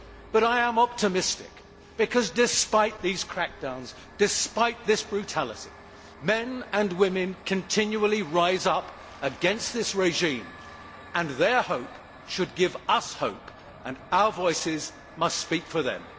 But I am optimistic, because despite these crackdowns, despite this brutality, men and women continually rise up against this regime, and their hope should give us hope and our voices must speak for them.